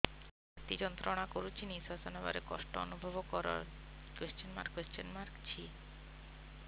ଛାତି ଯନ୍ତ୍ରଣା କରୁଛି ନିଶ୍ୱାସ ନେବାରେ କଷ୍ଟ ଅନୁଭବ କରୁଛି